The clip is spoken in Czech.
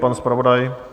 Pan zpravodaj?